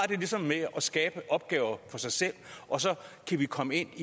det ligesom med at skabe opgaver for sig selv og så kan vi komme